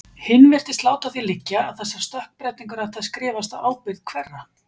Hinn virtist láta að því liggja að þessar stökkbreytingar ættu að skrifast á ábyrgð- hverra?